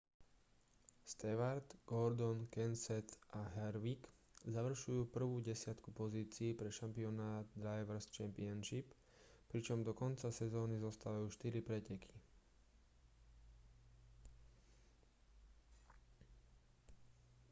stewart gordon kenseth a harvick završujú prvú desiatku pozícií pre šampionát drivers' championship pričom do konca sezóny zostávajú štyri preteky